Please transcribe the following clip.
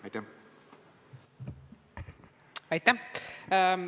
Aitäh!